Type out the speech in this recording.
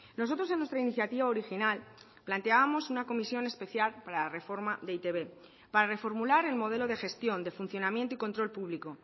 nosotros en nuestra iniciativa original planteábamos una comisión especial para la reforma de e i te be para reformular el modelo de gestión de funcionamiento y control público